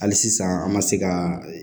Hali sisan an ma se ka